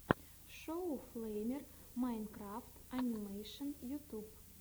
шоу флэймер майнкрафт анимэшен ютюб